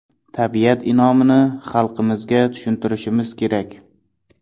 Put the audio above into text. Tabiat in’omini xalqimizga tushuntirishimiz kerak.